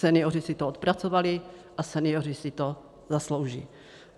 Senioři si to odpracovali a senioři si to zaslouží.